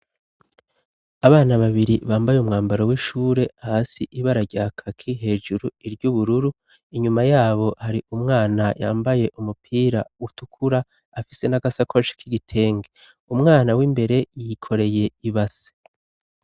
Abana babiri bambaye umwambaro w'ishure , hasi ibara rya kaki hejuru iry'ubururu, inyuma yabo hari umwana yambaye umupira utukura afise n'agasakoshe k'igitenge ,umwana w'imbere yikoreye ibase.